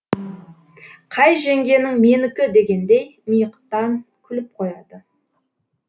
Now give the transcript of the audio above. қай жеңгенің менікі дегендей миықтан күліп қояды